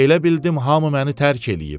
Elə bildim hamı məni tərk eləyib.